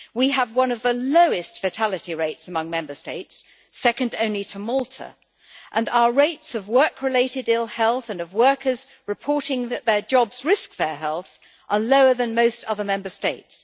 We have one of the lowest fatality rates among Member States, second only to Malta, and our rates of work related ill health, and of workers reporting that their jobs risk their health, are lower than most other Member States'.